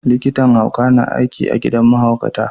Likitan hauka na aiki a gidan mahaukatai.